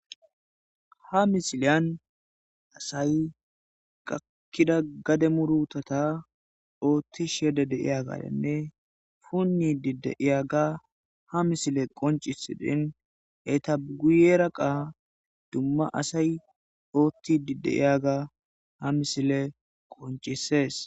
Ha misiliya asay gakiida gade murutata othishe deyiya kaththa punoshe diyabanne diyaaga ha misileyi qoncisesidi eta guyera qa duma asay othidi de7iyaaga ha misileyi qonccisees.